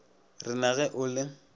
re na ge o le